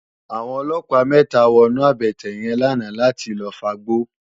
Awòn òlòpá mètá wònú àbètè yèn làná làtí lòfágbó